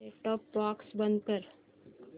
set top box बंद कर